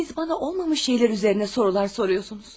Siz bana olmamış şeylər üzərinə sorular soruyorsunuz.